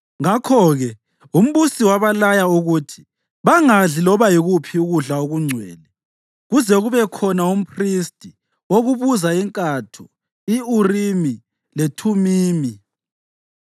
Ngakho-ke, umbusi wabalaya ukuthi bangakudli loba yikuphi ukudla okungcwele kuze kubekhona umphristi wokubuza inkatho i-Urimi leThumimi.